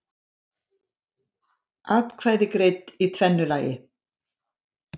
Atkvæði greidd í tvennu lagi